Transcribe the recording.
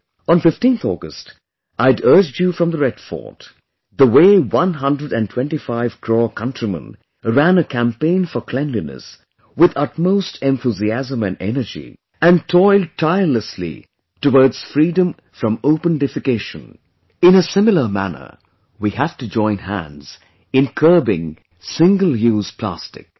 On 15th August, I had urged you from the Red Fort...the way one hundred & twenty five crore countrymen ran a campaign for cleanliness with utmost enthusiasm and energy, and toiled tirelessly towards freedom from open defecation; in a similar manner, we have to join hands in curbing 'single use plastic'